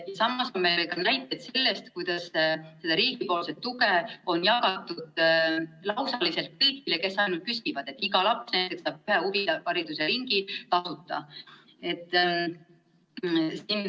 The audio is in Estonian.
Samas on näiteid sellest, kuidas riigi raha on jagatud lausaliselt kõigile, kes ainult küsivad, ja peaaegu iga laps saab huvihariduse ringi tasuta.